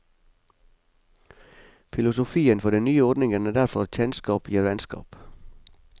Filosofien for den nye ordningen er derfor at kjennskap gir vennskap.